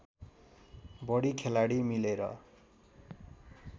बढी खेलाडी मिलेर